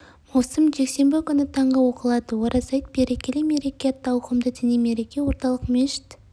маусым жексенбі күні таңғы оқылады ораза айт берекелі мереке атты ауқымды діни мереке орталық мешіт